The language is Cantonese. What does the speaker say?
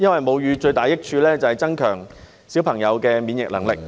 母乳最大的益處，是增強嬰兒的免疫能力......